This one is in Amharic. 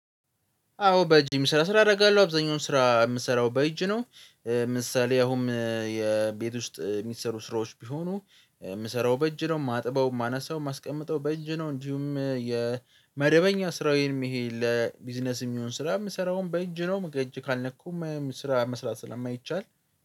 አዎ፣ በእጅ የሚሰራ ስራ አደርጋለሁ አብዛኛውን ስራ የምሰራው በእጅ ነው። ምሳሌ አሁን የቤት ውስጥ የሚሰሩ ስራዎች ቢሆኑ የምሰራው በእጅ ነው የማጥበው፣ የማነሳው፣ የማስቀምጠው በእጅ ነው። እንዲሁም የመደበኛ ስራዬንም ይሄ ለቢዝነስ የሚሆን ስራ የምሰራውን በእጅ ነው በእጅ ካልነኩም ስራ መስራት ስለማይቻል።